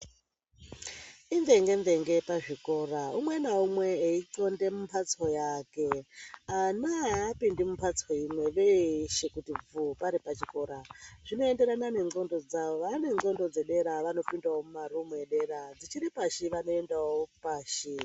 Imvenge mvenge pazvikora umwe naumwe eixonde mumhatso yake. Ana aapindi mumhatso imwe kuti bvuu varipachikora. Zvinoenderana nendxondo dzavo, vaane ndxondo dzedera vanoendawo kumarumu epadera, dzichiri pashi vachiendawo epashi.